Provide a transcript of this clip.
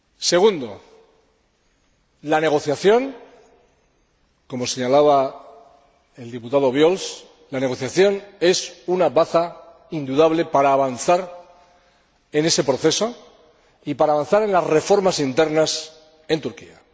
Segundo, la negociación, como señalaba el diputado Obiols, la negociación es una baza indudable para avanzar en ese proceso y para avanzar en las reformas internas en Turquía.